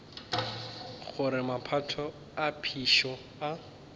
gore maphoto a phišo a